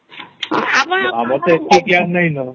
ହଁ